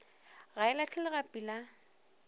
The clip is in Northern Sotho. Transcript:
ga e lahle legapi la